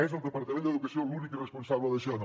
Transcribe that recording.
és el departament d’educació l’únic responsable d’això no